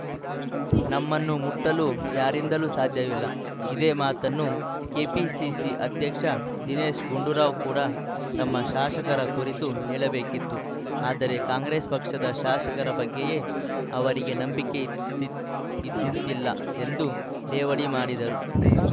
ನಮ್ಮನ್ನು ಮುಟ್ಟಲು ಯಾರಿಂದಲೂ ಸಾಧ್ಯವಿಲ್ಲ ಇದೇ ಮಾತನ್ನು ಕೆಪಿಸಿಸಿ ಅಧ್ಯಕ್ಷ ದಿನೇಶ್‌ ಗುಂಡೂರಾವ್‌ ಕೂಡ ತಮ್ಮ ಶಾಸಕರ ಕುರಿತು ಹೇಳಬೇಕಿತ್ತು ಆದರೆ ಕಾಂಗ್ರೆಸ್‌ ಪಕ್ಷದ ಶಾಸಕರ ಬಗ್ಗೆಯೇ ಅವರಿಗೆ ನಂಬಿಕೆ ಇದ್ ದಿಂತ್ ದಿಲ್ಲ ಎಂದು ಲೇವಡಿ ಮಾಡಿದರು